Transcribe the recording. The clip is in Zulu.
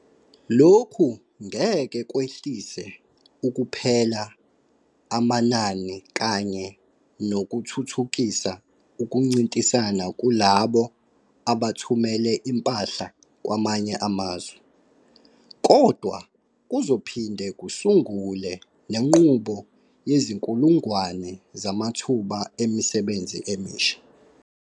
Lokhu ngeke kwehlise kuphela amanani kanye nokuthuthukisa ukuncintisana kulabo abathumela impahla kwamanye amazwe, kodwa kuzophinde kusungule nenqubo yezinkulungwane zamathuba emisebenzi emisha.